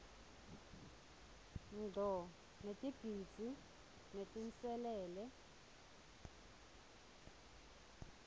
ngco ngetidzingo netinselele